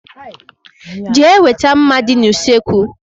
Jee weta mma dị n' usekwu!!!!